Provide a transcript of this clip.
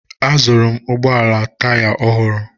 Azụụrụ m ụgbọala m taya ọhụrụ.